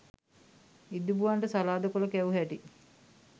ඉදිබුවන්ට සලාද කොළ කැවු හැටි